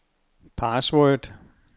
password